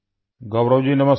गौरव जी नमस्ते